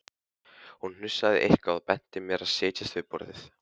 Hún hnussaði eitthvað og benti mér að setjast við borðið.